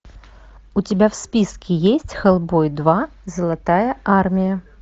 у тебя в списке есть хеллбой два золотая армия